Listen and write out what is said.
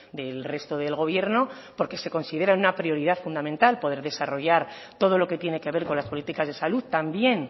del resto del gobierno porque se considera una prioridad fundamental poder desarrollar todo lo que tiene que ver con las políticas de salud también